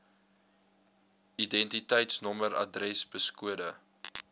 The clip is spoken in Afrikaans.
identiteitsnommer adres poskode